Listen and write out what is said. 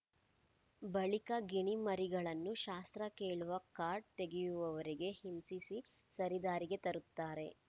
ಬಳಿಕ ಗಿಣಿ ಮರಿಗಳನ್ನು ಶಾಸ್ತ್ರ ಕೇಳುವ ಕಾರ್ಡ್‌ ತೆಗೆಯುವವರೆಗೆ ಹಿಂಸಿಸಿ ಸರಿದಾರಿಗೆ ತರುತ್ತಾರೆ